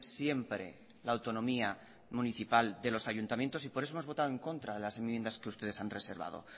siempre la autonomía municipal de los ayuntamientos y por eso hemos votado en contra de las enmiendas que ustedes han reservado